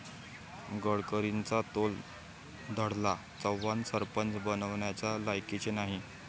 गडकरींचा तोल ढळला, 'चव्हाण सरपंच बनण्याच्या लायकीचे नाही'